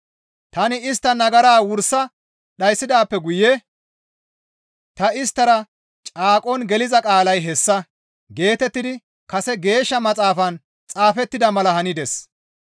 Tani istta nagara wursa dhayssidaappe guye ta isttara caaqon geliza qaalay hessa» geetettidi kase Geeshsha Maxaafan xaafettida mala hanides.